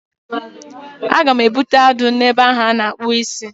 Aga m ebute adụ na ebe ahụ a na-akpụ isi